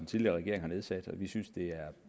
tidligere regering har igangsat og vi synes det er